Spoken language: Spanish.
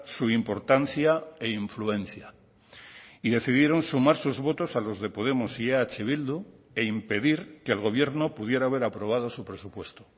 su importancia e influencia y decidieron sumar sus votos a los de podemos y eh bildu e impedir que el gobierno pudiera haber aprobado su presupuesto